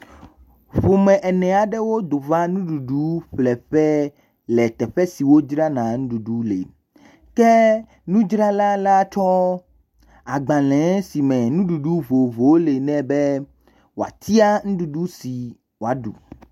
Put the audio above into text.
Ƒome ene aɖewo do va nuɖuɖu ƒlẽ ƒe le teƒe si wodzrana nuɖuɖu le, ke nudzrala latsɔ agbalẽ si me nuɖuɖu vovovowo le nɛ be wòatia nuɖuɖu si wòaɖu.